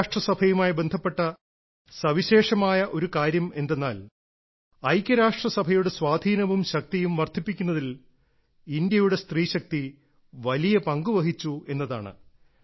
ഐക്യരാഷ്ട്രസഭയുമായി ബന്ധപ്പെട്ട സവിശേഷമായ ഒരു കാര്യമെന്താണെന്നാൽ ഐക്യരാഷ്ട്രസഭയുടെ സ്വാധീനവും ശക്തിയും വർദ്ധിപ്പിക്കുന്നതിൽ ഇന്ത്യയുടെ സ്ത്രീശക്തി വലിയ പങ്കുവഹിച്ചു എന്നതാണ്